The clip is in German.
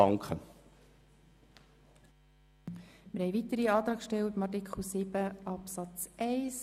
Wir haben weitere Antragsteller zu Artikel 7 Absatz 1.